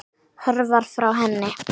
Hörfar frá henni.